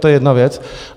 To je jedna věc.